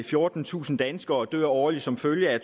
fjortentusind danskere dør årligt som følge af